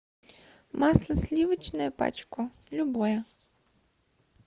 масло сливочное пачку любое